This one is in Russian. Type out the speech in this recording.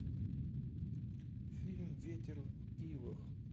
фильм ветер в ивах